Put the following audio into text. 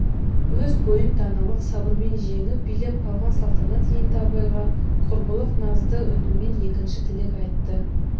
өз бойын даналық сабырмен жеңіп билеп алған салтанат енді абайға құрбылық назды үніменен екінші тілек айтты